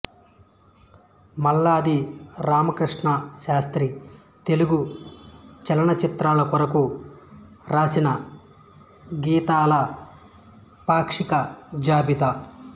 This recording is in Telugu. మల్లాది రామకృష్ణశాస్త్రి తెలుగు చలనచిత్రాల కొరకు వ్రాసిన గీతాల పాక్షిక జాబితా